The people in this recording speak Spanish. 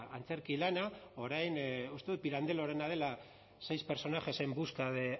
antzerki lana orain uste dut pirandellorena dela seis personajes en busca de